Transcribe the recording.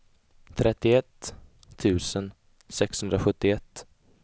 trettioett tusen sexhundrasjuttioett